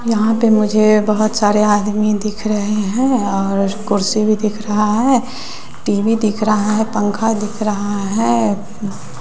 यहां पे मुझे बहुत सारे आदमी दिख रहे हैं और कुर्सी भी दिख रहा है टी_वी दिख रहा है पंखा दिख रहा है।